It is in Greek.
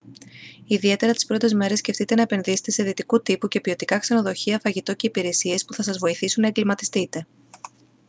ιδιαίτερα τις πρώτες μέρες σκεφτείτε να «επενδύσετε» σε δυτικού τύπου και ποιοτικά ξενοδοχεία φαγητό και υπηρεσίες που θα σας βοηθήσουν να εγκλιματιστείτε